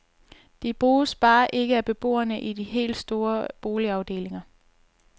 De bruges bare ikke af beboerne i de helt store boligafdelinger.